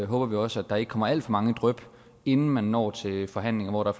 håber vi også at der ikke kommer alt for mange dryp inden man når til forhandlinger hvor der